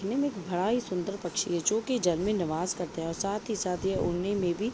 दिखने में बड़ा ही सुंदर पक्षी है जो की जन्मी नवाज करते हैं और साथ ही साथ यह उड़ने में भी --